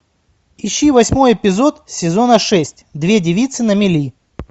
ищи восьмой эпизод сезона шесть две девицы на мели